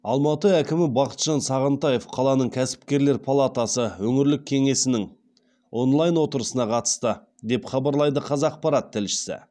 алматы әкімі бақытжан сағынтаев қаланың кәсіпкерлер палатасы өңірлік кеңесінің онлайн отырысына қатысты деп хабарлайды қазақпарат тілшісі